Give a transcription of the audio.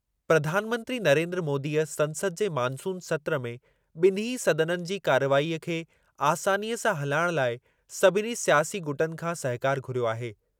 प्रधानमंत्री नरेन्द्र मोदीअ संसद जे मानसून सत्रु में ॿिन्हीं सदननि जी कार्रवाईअ खे आसानीअ सां हलाइण लाइ सभिनी स्यासी गुटनि खां सहकारु घुरियो आहे।